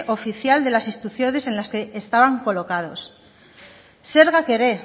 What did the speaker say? oficial de las instrucciones en las que estaban colocados zergak ere